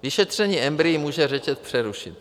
Vyšetření embryí může řetěz přerušit.